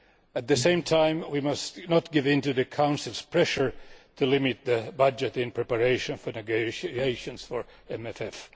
At the same time we must not give in to Council pressure to limit the budget in preparation for the negotiations for the MFF.